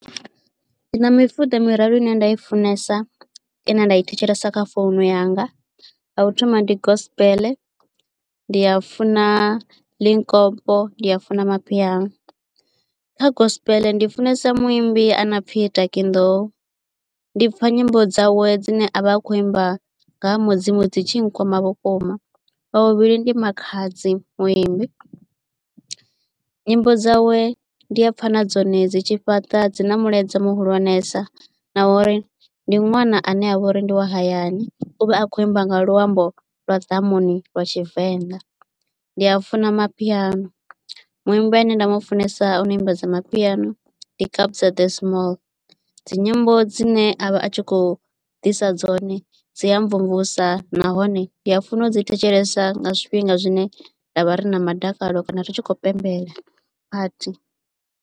Ndi na mifuda miraru ine nda i funesa ine nda i thetshelesa kha founu yanga ya u thoma ndi gospel ndi a funa likompo ndi a funa mapiano. Kha gospel ndi funesa muimbi ano pfhi Taki Nḓou ndi pfha nyimbo dzawe dzine avha a kho imba nga ha mudzimu dzi tshi nkwama vhukuma. Wa vhavhili ndi Makhadzi Muimbi nyimbo dzawe ndi a pfa na dzone dzi tshi fhaṱa dzi na mulaedza muhulwanesa na uri ndi ṅwana ane avha uri ndi wa hayani uvha a kho imba nga luambo lwa ḓamuni lwa tshivenḓa. Ndi a funa mapiano muimbi ane nda mu funesa ono ambadza mapiano ndi Kabza de Small dzi nyimbo dzine a vha a tshi khou ḓisa dzone dzi a mvumvusa nahone ndi a funa u dzi thetshelesa nga zwifhinga zwine nda vha rina madakalo kana u tshi kho pembela pathi.